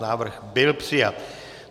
Návrh byl přijat.